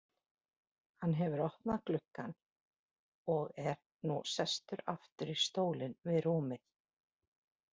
Hann hefur opnað gluggann og er nú sestur aftur í stólinn við rúmið.